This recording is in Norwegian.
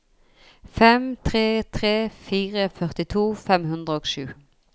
fem tre tre fire førtito fem hundre og sju